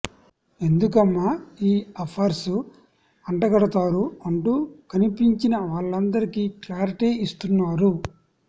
ఎందుకమ్మా ఈ అఫైర్స్ అంతగడుతారు అంటూ కనిపించిన వాలందరికి క్లారిటీ ఇస్తున్నారు